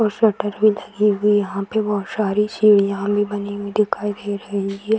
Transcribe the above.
और शटर भी लगी हुई यहां पे बहोत सारी सीढ़ीयां भी बनी हुई दिखाई दे रही है।